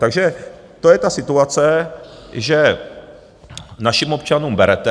Takže to je ta situace, že našim občanům berete.